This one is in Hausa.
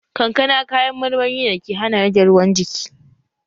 Kankana kayan marmari ne dake hana rage ruwan jiki